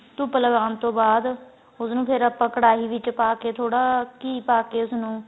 ਧੁੱਪ ਲਗਾਣ ਤੋਂ ਬਾਅਦ ਉਸ ਨੂੰ ਫੇਰ ਆਪਾਂ ਕੜਾਹੀ ਵਿਚ ਪਾ ਕੇ ਥੋੜਾ ਘੀ ਪਾ ਕੇ ਉਸ ਨੂੰ